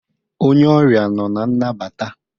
Onye ọrịa nọ na nnabata